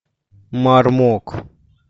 мармок